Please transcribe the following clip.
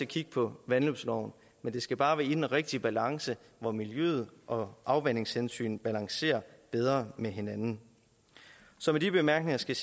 kigge på vandløbsloven men det skal bare være i den rigtige balance hvor miljøet og afvandingshensyn balancerer bedre med hinanden så med de bemærkninger skal